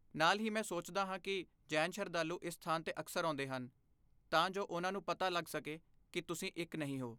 ਨਾਲ ਹੀ ਮੈਂ ਸੋਚਦਾ ਹਾਂ ਕਿ ਜੈਨ ਸ਼ਰਧਾਲੂ ਇਸ ਸਥਾਨ 'ਤੇ ਅਕਸਰ ਆਉਂਦੇ ਹਨ ਤਾਂ ਜੋ ਉਨ੍ਹਾਂ ਨੂੰ ਪਤਾ ਲੱਗ ਸਕੇ ਕਿ ਕੀ ਤੁਸੀਂ ਇੱਕ ਨਹੀਂ ਹੋ।